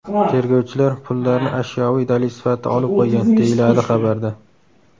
Tergovchilar pullarni ashyoviy dalil sifatida olib qo‘ygan”, deyiladi xabarda.